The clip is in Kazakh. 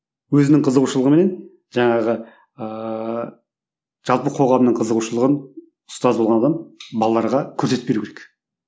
өзінің қызығушылығыменен жаңағы ыыы жалпы қоғамның қызығушылығын ұстаз болған адам балаларға көрсетіп беру керек